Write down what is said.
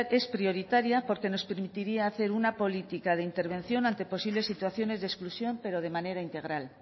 es prioritaria porque nos permitiría hacer una política de intervención ante posibles situaciones de exclusión pero de manera integral